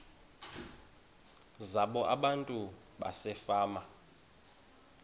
zabo abantu basefama